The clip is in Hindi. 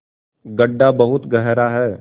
गढ्ढा बहुत गहरा है